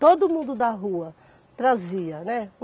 Todo mundo da rua trazia, né.